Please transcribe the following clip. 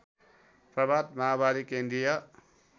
प्रभात माओवादी केन्द्रीय